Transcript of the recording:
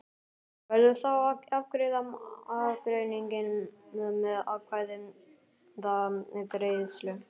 Verður þá að afgreiða ágreininginn með atkvæðagreiðslu.